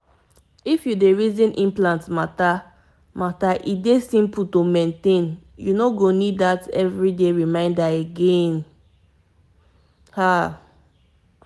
to get contraceptive implant no dey stress na easy thing wey go save you from daily reminder wahala like say na alarm.